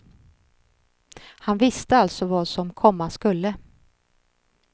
Han visste alltså vad som komma skulle.